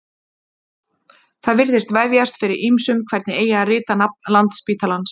það virðist vefjast fyrir ýmsum hvernig eigi að rita nafn landspítalans